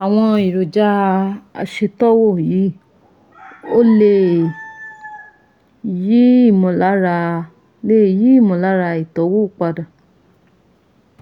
Àwọn èròjà aṣètọ́wò yìí ò lè yí ìmọ̀lára lè yí ìmọ̀lára ìtọ́wò padà